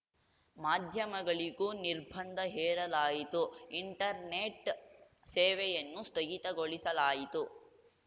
ಮಾಧ್ಯಮಗಳಿಗೂ ನಿರ್ಬಂಧ ಹೇರಲಾಯಿತು ಇಂಟರ್ನೆಟ್‌ ಸೇವೆಯನ್ನು ಸ್ಥಗಿತಗೊಳಿಸಲಾಯಿತು